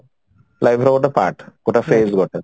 life ର ଗୋଟେ part ଗୋଟେ phase ଗୋଟେ